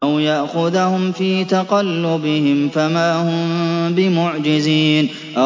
أَوْ يَأْخُذَهُمْ فِي تَقَلُّبِهِمْ فَمَا هُم بِمُعْجِزِينَ